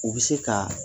U bɛ se ka